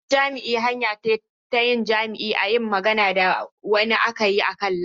Hirar jima'i hanya ce ta yin jima'i ta yin magana da wani a kan layi.